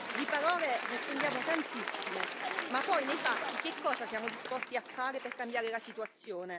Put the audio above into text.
Di parole ne spendiamo tantissime, ma poi nei fatti che cosa siamo disposti a fare per cambiare la situazione?